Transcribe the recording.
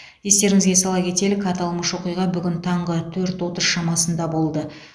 естеріңізге сала кетелік аталмыш оқиға бүгін таңғы төрт отыз шамасында болды